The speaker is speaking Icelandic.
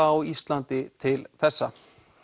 á Íslandi til þessa